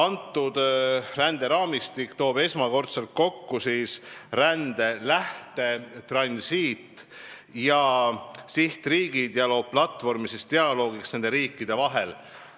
Selle ränderaamistiku arutelu toob esmakordselt kokku rände lähte-, transiit- ja sihtriigid ja loob platvormi dialoogiks nende riikide vahel.